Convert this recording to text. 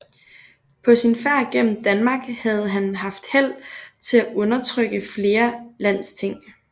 På sin færd gennem Danmark havde han haft held til at undertrykke flere landsting